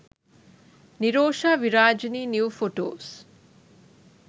nirosha virajini new photos